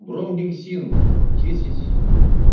бромгексин десять